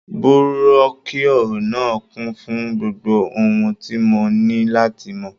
Búrọ́kíọ̀ náà kún fún gbogbo ohun tí mo ní láti mọ̀.